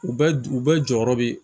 U bɛɛ u bɛɛ jɔyɔrɔ be